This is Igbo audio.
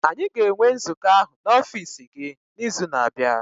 Anyị ga-enwe nzukọ ahụ n'ọfiisi gị n'izu na-abịa.